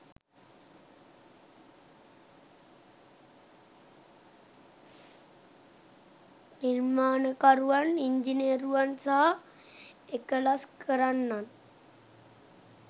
නිර්මාණකරුවන්, ඉංජිනේරුවන් සහ එකලස් කරන්නන්